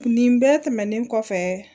Nin bɛɛ tɛmɛnen kɔfɛ